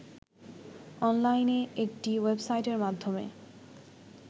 অনলাইনে একটি ওয়েবসাইটের মাধ্যমে